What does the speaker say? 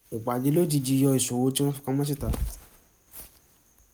ìpàdé lójijì yọ ìṣòro tí wọn fi pamọ̀ síta